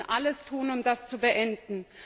Wir müssen alles tun, um das zu beenden.